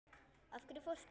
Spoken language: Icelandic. Af hverju fórstu?